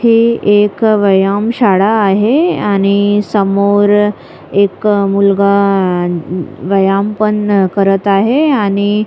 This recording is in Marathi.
हे एक व्यायाम शाळा आहे आणि समोर एक मुलगा व्यायाम पण करत आहे आणि--